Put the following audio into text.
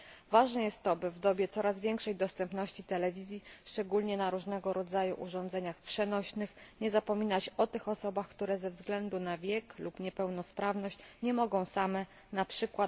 Ważne jest, by w dobie coraz większej dostępności telewizji, szczególnie na różnego rodzaju urządzeniach przenośnych, nie zapominać o osobach, które ze względu na wiek lub niepełnosprawność nie mogą same, np.